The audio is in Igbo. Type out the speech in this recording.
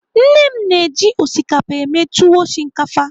Nne m na-eji osikapa eme tuwo shinkafa.